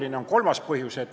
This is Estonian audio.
Selleks on ka kolmas põhjus.